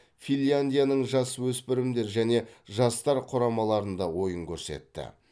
финляндияның жасөспірімдер және жастар құрамаларында ойын көрсетті